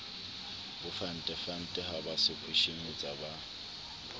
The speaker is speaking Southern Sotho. bofentefente ha ba sekhweshemetsa ba